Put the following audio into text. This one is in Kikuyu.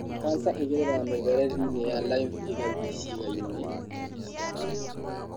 kanca ĩgereraga mĩberethi-inĩ ya lymph ĩgathiĩ ciĩga-inĩ ingĩ cia mwĩrĩ.